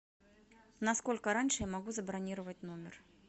насколько раньше я могу забронировать номер